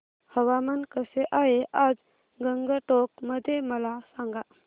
हवामान कसे आहे आज गंगटोक मध्ये मला सांगा